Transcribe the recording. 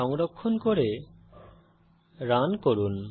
সংরক্ষণ করে রান করুন